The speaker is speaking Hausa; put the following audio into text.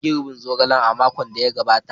An yi girbin zogalen a makon da ya gabata.